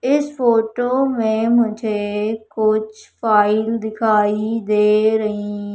इस फोटो में मुझे कुछ फाइल दिखाई दे रहीं--